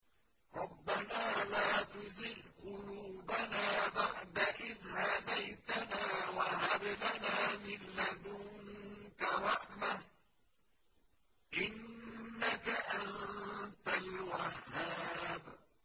رَبَّنَا لَا تُزِغْ قُلُوبَنَا بَعْدَ إِذْ هَدَيْتَنَا وَهَبْ لَنَا مِن لَّدُنكَ رَحْمَةً ۚ إِنَّكَ أَنتَ الْوَهَّابُ